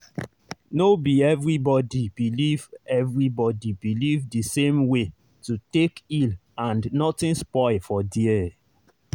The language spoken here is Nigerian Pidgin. no be everybody believe everybody believe the same way to take heal and nothing spoil for there.